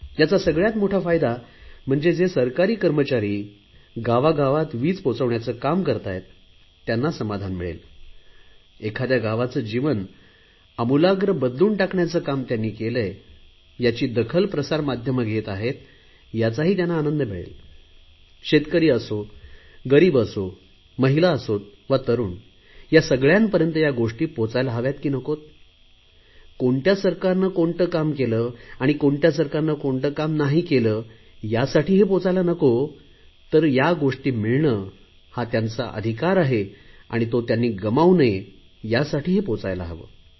याचा सगळयात मोठा फायदा म्हणजे जे सरकारी कर्मचारी गावागावात वीज पोहचवण्याचे हे काम करताहेत त्यांना समाधान मिळेल एखाद्या गावाचे जीवन आमूलाग्र बदलून टाकण्याचे काम त्यांनी केलेय यांची दखल प्रसार माध्यमे घेत आहेत याचा त्यांना आनंद मिळेल शेतकरी असो गरीब असो महिला असोत व तरुण या सगळयांपर्यंत या गोष्टी पोहचवायला हव्यात हे नक्की कोणत्या सरकारने कोणते काम केले आणि कोणत्या सरकाने कोणते काम नाही केले यासाठी हे पोहचायला नको तर त्या गोष्टी मिळणे हा त्यांचा अधिकार आहे आणि तो त्यांनी गमावू नये यासाठी पोहचायला हवे